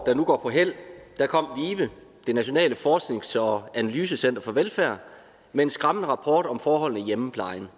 der nu går på hæld kom vive det nationale forsknings og analysecenter for velfærd med en skræmmende rapport om forholdene i hjemmeplejen